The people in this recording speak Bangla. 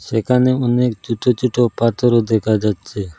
এখানে অনেক ছুটো ছুটো পাথরও দেখা যাচ্ছে।